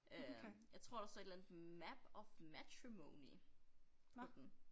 Øh jeg tror der står et eller andet map of matrimony på den